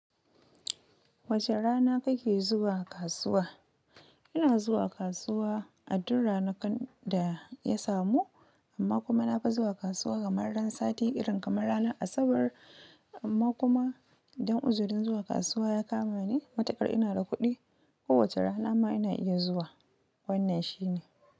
Wace rana kake zuwa kasuwa? Ina zuwa kasuwa a duk ranakun da na samu, amma kuma na fi zuwa kasuwa kamar ran sati irin kamar ranar asabar, amma kuma idan uzurin zuwa kasuwa ya kamani matukar ina da kudi ko wace rana ma ina iya zuwa, wannan shine.